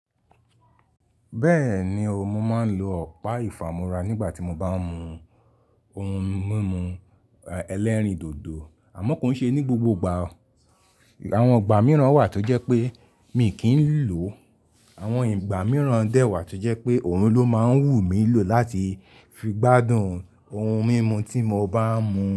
Bẹ́ẹ̀ni o, mo máa ń lo ọ̀pá ìfámúra nígbà tí mo bá ń mu ohun mímu ẹlẹ́rìndòdò, àmọ́ kò ń ṣe ní gbogbo ìgbà o. Àwọn ìgbà mìíràn wà tó jẹ́ pé mi kì í lò ó, àwọn ìgbà mìíràn dẹ̀ wà tó jẹ́ pé òun ló máa ń wù mí lò láti fi gbádùn ohun mímu tí mo bá ń mu.